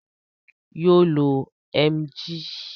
Yoo lo Emgyl.